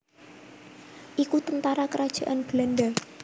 iku tentara kerajaan Belanda